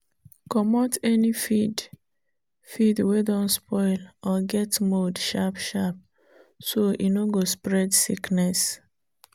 comot any feed feed wey don spoil or get mold sharp-sharp so e no go spread sickness